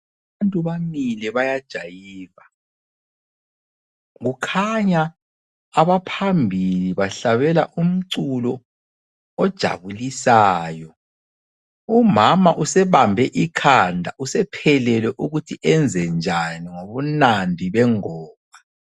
Abantu bamile bayajayiva kukhanya abaphambili bahlabela umculo ojabulisayo. Umama usebambe ikhanda usephelelwe ukuthi ayenzenjani ngobunandi bengoma.